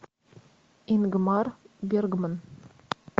ингмар бергман